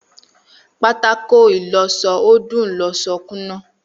Pátákó ìlọsọ ó dùn loso kúnná